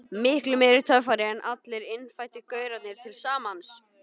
Miklu meiri töffari en allir innfæddu gaurarnir til samans.